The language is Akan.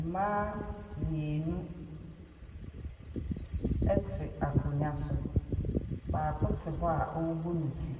Mmaa mmienu te akonnwa so. Baako te hɔ a ɔrebɔ ne ti.